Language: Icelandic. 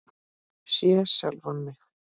Sé sjálfan mig.